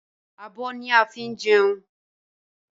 Abọ́ ni wọ́n ń fi jẹun.